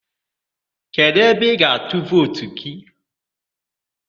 Kedụ ebe ị ga-atụ vootu?